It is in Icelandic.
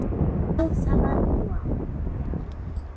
Já, það var nú þá.